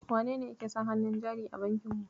Wanene yake son hannun jari a bankin mu?